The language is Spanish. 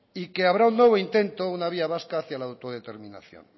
y que habrá un nuevo intento una vía vasca hacia la autodeterminación